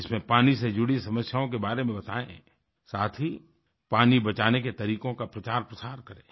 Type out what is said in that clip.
इसमें पानी से जुड़ी समस्याओं के बारे में बतायें साथ ही पानी बचाने के तरीकों का प्रचारप्रसार करें